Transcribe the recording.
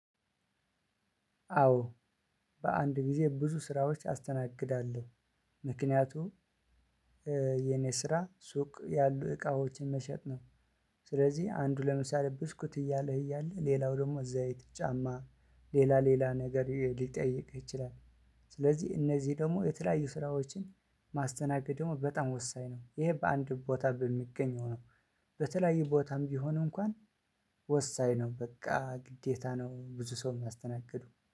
አዎ በአንድ ጊዜ ብዙ ስራዎች አስተናግዳለሁ ምክንያቱም የኔ ስራ ሱቅ ያሉ እቃዎችን መሸጥ ነው። ስለዚህ አንዱ ለምሳሌ ብስኩት እያለህ እያለ ሌላው ደግሞ ዘይት፣ ጫማ ሌላ ሌላ ነገር ሊጠይቅህ ይችላል። ስለዚህ እነዚህ ደግሞ የተለያዩ ስራዎችን ማስተናገድ ደግሞ በጣም ወሳኝ ነው። ይሄ በአንድ ቦታ በሚገኘው ነው። በተለያዩ ቦታም ቢሆን እንኳን ወሳኝ ነው በቃ ግዴታ ነው ብዙ ሰው የማስተናግዱ